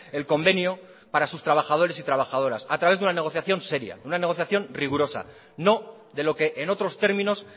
el convenio para sus trabajadores y trabajadoras a través de una negociación seria de una negociación rigurosa no de lo que en otros términos